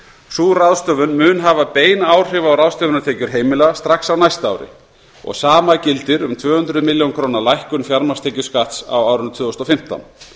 sú ráðstöfun mun hafa bein áhrif á ráðstöfunartekjur heimila strax á næsta ári og hið sama gildir um tvö hundruð milljóna króna lækkun fjármagnstekjuskatts á árinu tvö þúsund og fimmtán